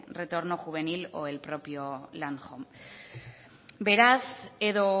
retorno juvenil o el propio landhome beraz edo